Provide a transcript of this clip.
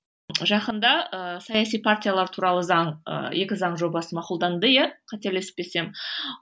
жақында ы саяси партиялар туралы заң ы екі заң жобасы мақұлданды иә қателеспесем